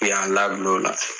U y'an labil' ola